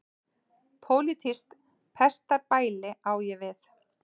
Pólitískt pestarbæli á ég við.